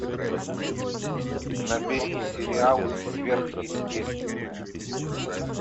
набери сериал сверхъестественное